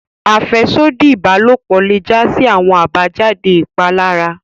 Afẹsodi ibalopo le ja si awọn abajade ipalara.